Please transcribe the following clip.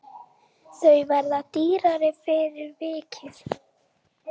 Þau verða dýrari fyrir vikið.